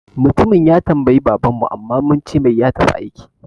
Mutumin ya tambaye baban mu amma muncemai ya tafi aiki